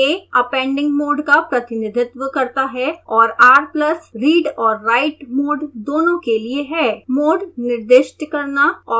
a appending mode का प्रतिनिधित्व करता है और r+ read और write mode दोनों के लिए है मोड निर्दिष्ट करना ऑप्शनल है